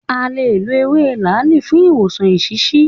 À lè lọ ewé làáàlì fún ìwòsàn eṣiṣi.